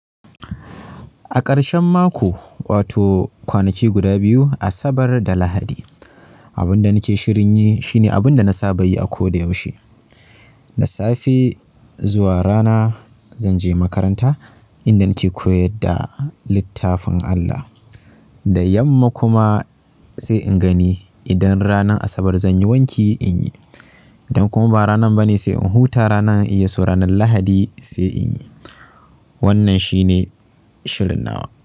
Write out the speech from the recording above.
A ƙarshen mako wato kwanaki guda biyu Asabar da Lahadi abin da nake shirin yi shine abin da na saba yi a ko da yaushe. Da safe zuwa rana zanje makaranta inda nake koyar da littafin Allah. Da yamma kuma sai in gani idan ranar Asabar zanyi wanki inyi idan kuma ba ranar bane sai in huta rana in iya so ranar Lahadi sai in yi. Wannan shine shirin nawa.